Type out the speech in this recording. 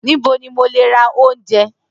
Nibo ni mo le ra ounjẹ?